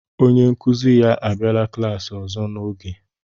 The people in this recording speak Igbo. onye nkuzi ya abịala klaasị ọzọ n'ohe